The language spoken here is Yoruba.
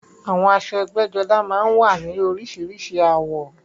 Àwọn aṣọ ẹgbẹ́jọdá máa ń wá ní oríṣiríṣi àwọ̀